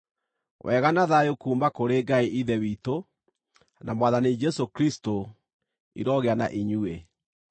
Wega na thayũ kuuma kũrĩ Ngai Ithe witũ, na Mwathani Jesũ Kristũ, irogĩa na inyuĩ.